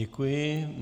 Děkuji.